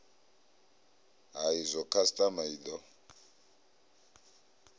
ha izwo khasitama i do